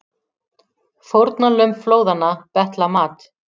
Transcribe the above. Fórnarlömb flóðanna betla mat